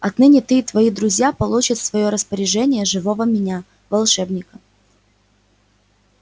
отныне ты и твои друзья получат в своё распоряжение живого меня волшебника